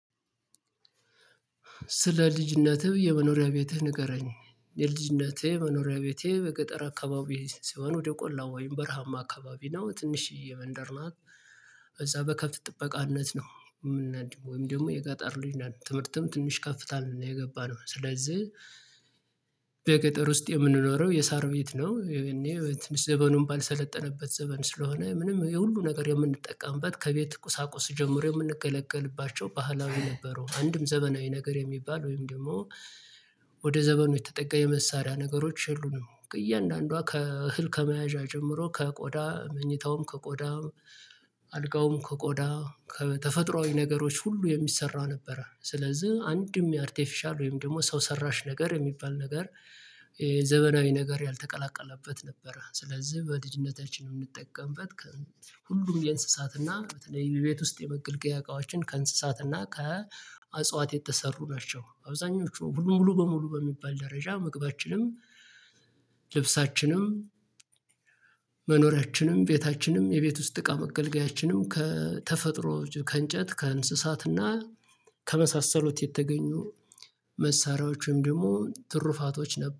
ስለ ልጅ ነትህ የመኖሪያ ቤትህ ንገረኝ የልጅነቴ መኖሪያ ቤቴ በገጠር አካባቢ ስሆን ወደ ቆላው ወይም በረሃማ አካባቢ ነው ትንሽዬ መንደር ናት። እዛ በከብት ጥበቃነት ነው የምናደገው ወይም ደግሞ የገጠር ልጅ ነን ትምህርትም ትንሽ ከፍ ታልን ነው የገባነው ስለዚህ። በገጠር ውስጥ የምንኖረው የሳር ቤት ነው ያኔ ዘበኑን ባልሰለጠነበት ዘበን ስለሆነ ምንም የሁሉ ነገር የምንጠቀምበት ከቤት ቁሳቁስ ጀምሮ የምንገለገልባቸው ባህላዊ ነበሩው አንድም ዘመናዊ ነገር የሚባል ወይም ደግሞ። ወደ ዘመኑ የተጠጋ የመሳሪያ ነገሮች የሉንም እያንዳንዷ ከእህል ከመያዣ ጀምሮ ከቆዳ መኝታውም ከቆዳ አልጋውም ከቆዳ ከተፈጥሮአዊ ነገሮች ሁሉ የሚሰራ ነበረ። ስለዚህ አንድም የአርቴፊሻል ወይም ደግሞ ሰው ሰራሽ ነገር የሚባል ነገር። ዘመናዊ ነገር ያልተቀላቀለበት ነበረ። ስለዚህ በልጅነታችን የምንጠቀምበት ከ ሁሉም የእንስሳትና በተለይ ቤት ውስጥ የመገልገያ እቃዎችን ከእንስሳትና ከ አጽዋት የተሰሩ ናቸው። አብዛኞቹ ሙሉ ሙሉ በሙሉ በሚባል ደረጃ መግባችንም ልብሳችንም መኖሪያችንም ቤታችንም የቤት ውስጥ እቃ መገልገያችንም ከተፈጥሮ ከእንጨት ከእንስሳት እና ከመሳሰሉት የተገኙ መሳሪያዎች ወይም ደግሞ ትሩፋቶች ነበሩ